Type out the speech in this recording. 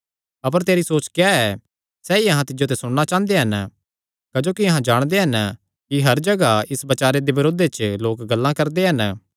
अपर तेरी सोच क्या ऐ सैई अहां तिज्जो ते सुणना चांह़दे हन क्जोकि अहां जाणदे हन कि हर जगाह इस बचारे दे बरोधे च लोक गल्लां करदे हन